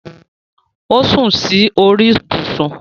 O sún sí orí ibùsùn